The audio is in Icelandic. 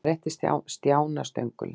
Hann rétti Stjána stöngulinn.